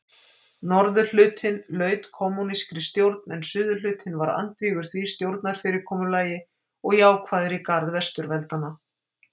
Norðurhlutinn laut kommúnískri stjórn en suðurhlutinn var andvígur því stjórnarfyrirkomulagi og jákvæður í garð Vesturveldanna.